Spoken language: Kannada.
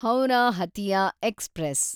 ಹೌರಾ ಹತಿಯಾ ಎಕ್ಸ್‌ಪ್ರೆಸ್